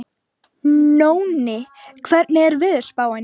Nóni, hvernig er veðurspáin?